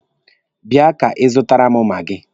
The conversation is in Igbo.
Bia ka ị zụtara m maagi!